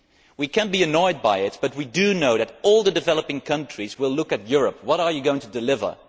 We can be annoyed by it, but we do know that all the developing countries will look to Europe. What are you going to deliver?